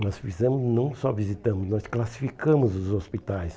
Nós fizemos não só visitamos, nós classificamos os hospitais.